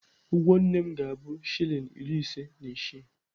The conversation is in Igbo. Ụgwọ nne m ga-abụ shilling iri ise na isii.